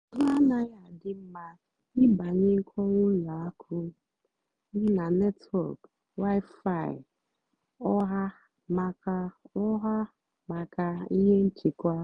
àhụ́ ànaghị́ àdì m mmá ị́bànyé nkọ́wá ùlọ àkụ́ m nà nétwọ́k wi-fi ọ̀hà màkà ọ̀hà màkà íhé nchèkwà.